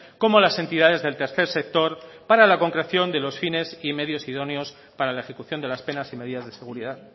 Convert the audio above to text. como las entidades del tercer sector para la concreción de los fines y medios idóneos para la ejecución de las penas y medidas de seguridad